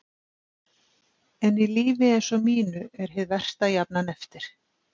En í lífi eins og mínu er hið versta jafnan eftir.